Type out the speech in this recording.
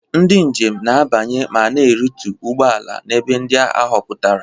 Ndị njem na-abanye ma na-arịtu ụgbọ ala n'ebe ndị a họpụtara.